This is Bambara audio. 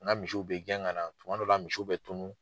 N ka misiw bɛ gɛn ka na tuma dɔw la misiw bɛ tunun.